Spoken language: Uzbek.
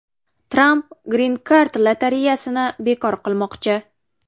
Tramp grin-kart lotereyasini bekor qilmoqchi.